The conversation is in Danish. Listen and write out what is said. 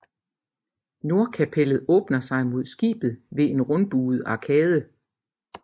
Nordkapellet åbner sig mod skibet ved en rundbuet arkade